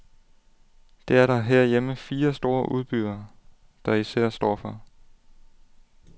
Det er der herhjemme fire store udbydere, der især står for.